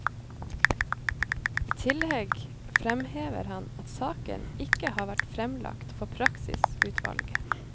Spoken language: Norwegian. I tillegg fremhever han at saken ikke har vært fremlagt for praksisutvalget.